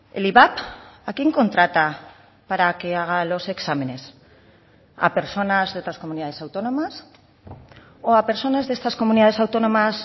el ivap a quién contrata para que haga los exámenes a personas de otras comunidades autónomas o a personas de estas comunidades autónomas